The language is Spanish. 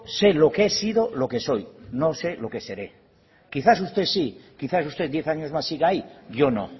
sé lo que he sido lo que soy no sé lo que seré quizás usted sí quizás usted diez años más siga ahí yo no